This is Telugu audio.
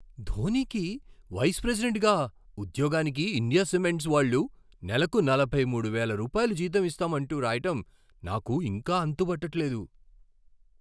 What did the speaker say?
ధోనీకి వైస్ ప్రెసిడెంట్గా ఉద్యోగానికి ఇండియా సిమెంట్స్ వాళ్ళు నెలకు నలభై మూడు వేల రూపాయల జీతం ఇస్తామంటూ రాయటం నాకు ఇంకా అంతుబట్టట్లేదు.